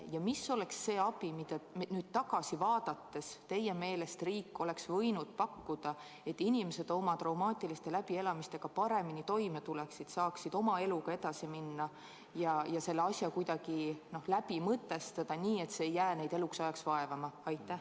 Ja milline oleks see abi, mida teie meelest riik oleks võinud pakkuda, et inimesed oma traumaatiliste läbielamistega paremini toime tuleksid, saaksid eluga edasi minna ja selle asja kuidagi läbi mõtestada, nii et see ei jääks neid eluks ajaks vaevama?